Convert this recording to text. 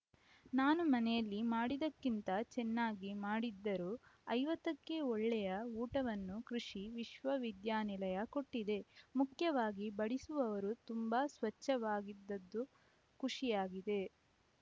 ನಾನು ಮನೆಯಲ್ಲಿ ಮಾಡಿದ್ದಕ್ಕಿಂತ ಚೆನ್ನಾಗಿ ಮಾಡಿದ್ದರು ಐವತ್ತ ಕ್ಕೆ ಒಳ್ಳೆಯ ಊಟವನ್ನು ಕೃಷಿ ವಿಶ್ವವಿದ್ಯಾನಿಲಯ ಕೊಟ್ಟಿದೆ ಮುಖ್ಯವಾಗಿ ಬಡಿಸುವವರು ತುಂಬಾ ಸ್ವಚ್ಛವಾಗಿದ್ದದ್ದು ಖುಷಿಯಾಗಿದೆ